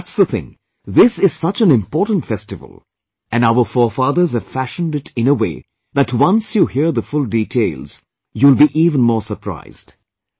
See, that's the thing, this is such an important festival, and our forefathers have fashioned it in a way that once you hear the full details, you will be even more surprised